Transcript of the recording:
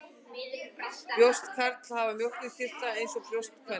Brjóst karla hafa mjólkurkirtla eins og brjóst kvenna.